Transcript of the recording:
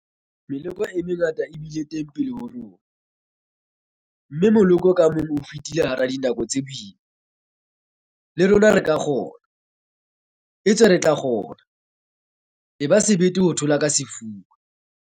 Meloko e mengata e bile teng pele ho rona, mme moloko ka mong o fetile hara dinako tse boima. Le rona re ka kgona, etswe re tla kgona. Eba sebete ho thula ka sefuba!